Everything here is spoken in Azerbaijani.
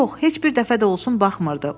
Yox, heç bir dəfə də olsun baxmırdı.